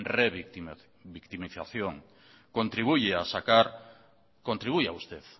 revictimización